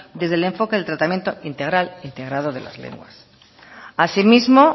desde el enfoque del tratamiento integral integrado de las lenguas así mismo